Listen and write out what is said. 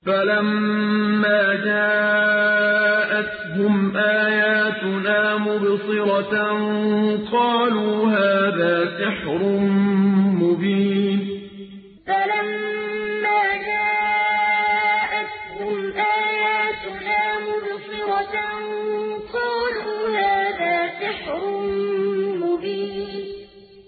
فَلَمَّا جَاءَتْهُمْ آيَاتُنَا مُبْصِرَةً قَالُوا هَٰذَا سِحْرٌ مُّبِينٌ فَلَمَّا جَاءَتْهُمْ آيَاتُنَا مُبْصِرَةً قَالُوا هَٰذَا سِحْرٌ مُّبِينٌ